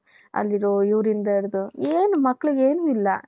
all ಇರೋ ಇವರಿಂದ ಇಡ್ದು ಎನ್ ಮಕ್ಕಳಿಗೆ ಏನು ಇಲ್ಲ .